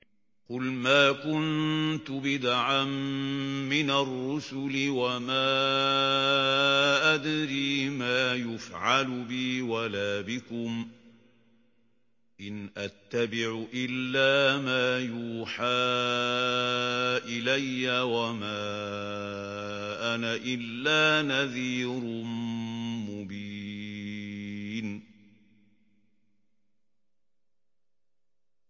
قُلْ مَا كُنتُ بِدْعًا مِّنَ الرُّسُلِ وَمَا أَدْرِي مَا يُفْعَلُ بِي وَلَا بِكُمْ ۖ إِنْ أَتَّبِعُ إِلَّا مَا يُوحَىٰ إِلَيَّ وَمَا أَنَا إِلَّا نَذِيرٌ مُّبِينٌ